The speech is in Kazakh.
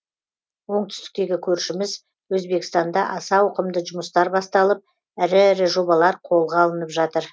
оңтүстіктегі көршіміз өзбекстанда аса ауқымды жұмыстар басталып ірі ірі жобалар қолға алынып жатыр